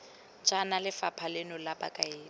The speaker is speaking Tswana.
jaana lephata leno la bokaedi